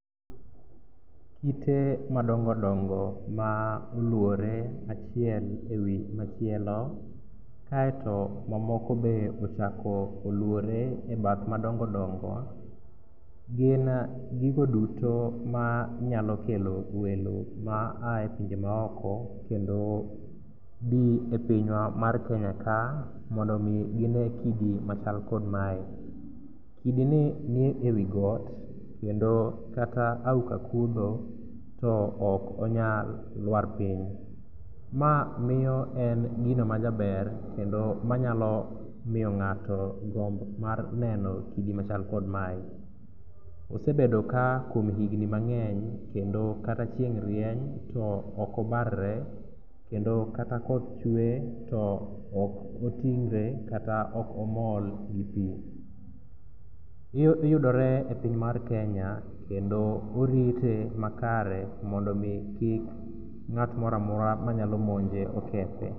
Kite madongodongo ma oluore achiel e wi machielo kaeto mamoko be ochako oluore e bath madongodongo gin gigo duto manyalo kelo welo ma aye pinje maoko kendo bi e pinywa mar Kenya ka mondo omi gine kidi machal kod mae. Kidini ni e wi got kendo kata auka kudho to ok onyal lwar piny. Ma miyo en gino majaber kendo manyalo miyo ng'ato gombo mar neno kidi machal kod mae. Osebedo ka kuom higni mang';eny kendo kata chieng' rieny to okobarre kendo kata koth chwe okoting're kata okoml gi pi. Yudore e piny mar Kenya kendo orite makare mondo omi kik ng'at moro amora manyalo monje okethe.